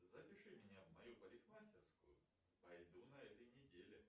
запиши меня в мою парикмахерскую пойду на этой неделе